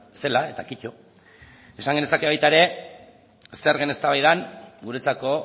zela eta kito esan genezake baita ere zergen eztabaidan guretzako